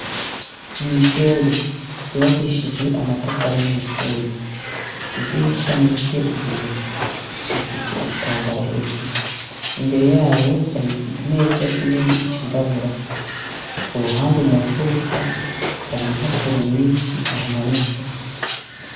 Ni ishure ryubakishijwe amatafari n'umusenyi. Idirisha n'iry'ibiyo rifise ibitamabara hejuru. Imbere yayo hari ikimeza kinini cirabura. Ku ruhande mu nfuruka hari impapuro nyinshi zihamanitse.